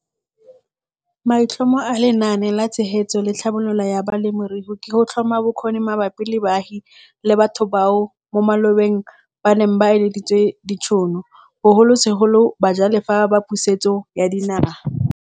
Maitlhomo a Lenaane la Tshegetso le Tlhabololo ya Balemirui ke go tlhoma bokgoni mabapi le baagi le batho bao mo malobeng ba neng ba ileditswe ditšhono, bogolosegolo bajalefa ba Pusetso ya Dinaga.